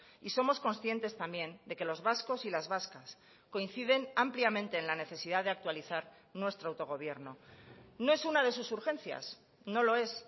y somos conscientes también de que los vascos y las vascas coinciden ampliamente en la necesidad de actualizar nuestro autogobierno no es una de sus urgencias no lo es